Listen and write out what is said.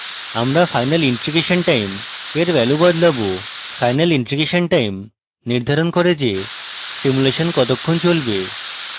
আমরা final integration time we value বদলাবো final integration time নির্ধারণ করে যে সিমুলেশন কতক্ষন চলবে